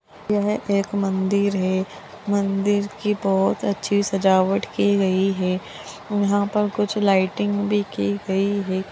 यह एक मंदिर है मंदिर की बहुत अच्छी सजावट की गई है यहाँ पे कुछ लाइटिंग भी की गई है।